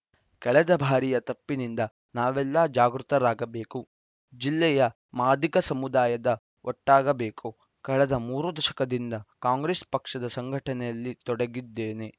ಕಳೆದ ಭಾರಿಯ ತಪ್ಪಿನಿಂದ ನಾವೆಲ್ಲಾ ಜಾಗೃತರಾಗಬೇಕು ಜಿಲ್ಲೆಯ ಮಾದಿಗ ಸಮುದಾಯದ ಒಟ್ಟಾಗಬೇಕು ಕಳೆದ ಮೂರು ದಶಕದಿಂದ ಕಾಂಗ್ರೆಸ್‌ ಪಕ್ಷದ ಸಂಘಟನೆಯಲ್ಲಿ ತೊಡಗಿದ್ದೇನೆ